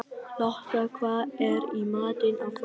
Lotta, hvað er í matinn á föstudaginn?